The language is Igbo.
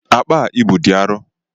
Akpa a ị bu dị arọ